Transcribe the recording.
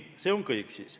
See on siis kõik.